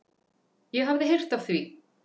Ég hafði heyrt af því.